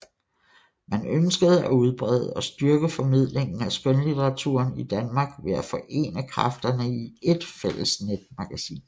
Man ønskede at udbrede og styrke formidlingen af skønlitteraturen i Danmark ved at forene kræfterne i ét fælles netmagasin